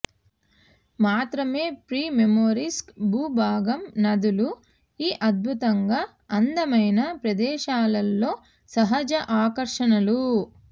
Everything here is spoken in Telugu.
మాత్రమే ప్రిమోర్స్కీ భూభాగం నదులు ఈ అద్భుతంగా అందమైన ప్రదేశాలలో సహజ ఆకర్షణలు